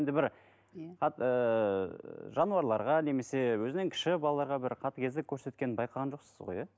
енді бір иә ііі жануарларға немесе өзінен кіші балаларға бір қатыгездік көрсеткенін байқаған жоқсыз ғой иә